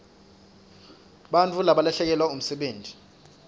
bantfu balahlekelwa msebenti